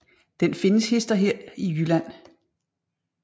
Den findes hist og her i Jylland